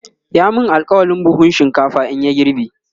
ya min alkawalin buhun shinkafa in ya girbe